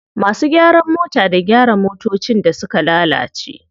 Masu gyaran mota da gyara motocin da suka lalace.